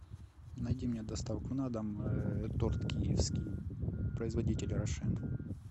найди мне доставку на дом торт киевский производитель рошен